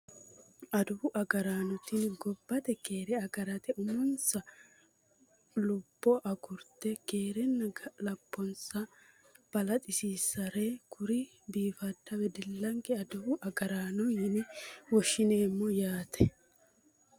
Adawu agaraano tini gobbate keere agarate uminsa lubbo agurte keerenna gobbansa balaxisiissannore kuri biifadda wedellanke adawu agaraano yine woshshineemmo yaate